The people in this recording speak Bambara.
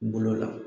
Bolo la